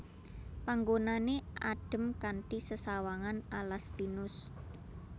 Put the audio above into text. Panggonané adhem kanthi sesawangan alas pinus